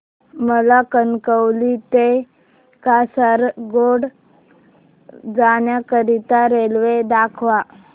मला कणकवली ते कासारगोड जाण्या करीता रेल्वे दाखवा